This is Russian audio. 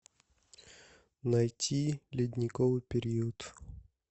найти ледниковый период